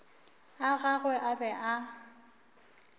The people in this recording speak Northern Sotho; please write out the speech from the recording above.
a gagwe a be a